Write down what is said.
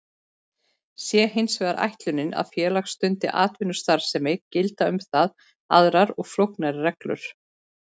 Sé hins vegar ætlunin að félag stundi atvinnustarfsemi gilda um það aðrar og flóknari reglur.